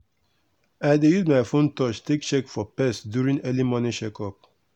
i dey use my phone touch take check for pest during early morning check up.